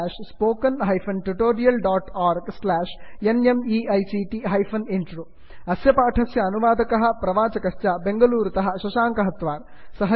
spoken hyphen tutorial dot org slash NMEICT hyphen intro अस्य पाठस्य अनुवादकः बेंगलूरुतः शशाङ्कः प्रवाचकः ऐ ऐ टी बांबे तः वासुदेवः